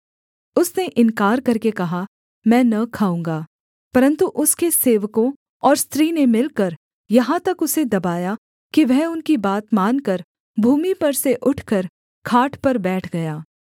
उसने इन्कार करके कहा मैं न खाऊँगा परन्तु उसके सेवकों और स्त्री ने मिलकर यहाँ तक उसे दबाया कि वह उनकी बात मानकर भूमि पर से उठकर खाट पर बैठ गया